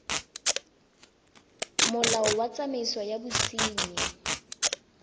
molao wa tsamaiso ya bosenyi